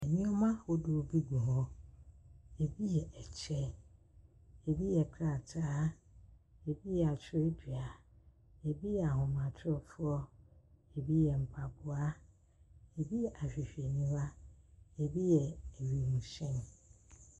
Nneɛma ahodoɔ bi gu hɔ. Ebi yɛ kyɛ, ebi yɛ krataa, ebi yɛ twerɛdua, ebi yɛ ahomatorofoɔ, ebi yɛ mpaboa, ebi yɛ ahwehwɛniwa, ebi yɛ wiemhyɛn.